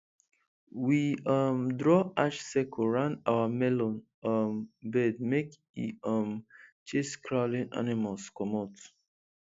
we um draw ash circle round our melon um bed make e um chase crawling animals comot